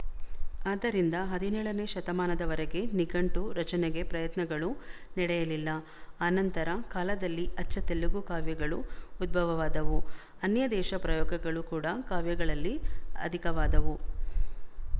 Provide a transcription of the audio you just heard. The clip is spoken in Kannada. ಆದ್ದರಿಂದ ಹದಿನೇಳನೇ ಶತಮಾನದವರೆಗೆ ನಿಘಂಟು ರಚನೆಗೆ ಪ್ರಯತ್ನಗಳು ನಡೆಯಲಿಲ್ಲ ಆನಂತರ ಕಾಲದಲ್ಲಿ ಅಚ್ಚ ತೆಲುಗು ಕಾವ್ಯಗಳು ಉದ್ಭವವಾದವು ಅನ್ಯದೇಶ ಪ್ರಯೋಗಗಳು ಕೂಡ ಕಾವ್ಯಗಳಲ್ಲಿ ಅಧಿಕವಾದವು